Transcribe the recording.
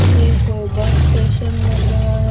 ये कोई bus station लग रहा है।